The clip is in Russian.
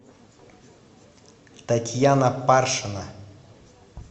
татьяна паршина